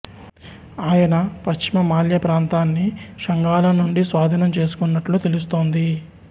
ఆయన పశ్చిమ మాల్వా ప్రాంతాన్ని షుంగాల నుండి స్వాధీనం చేసుకున్నట్లు తెలుస్తోంది